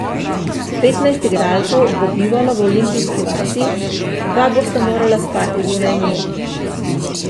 Petnajst igralcev bo bivalo v olimpijski vasi, dva bosta morala spati zunaj nje.